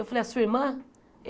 Eu falei, a sua irmã?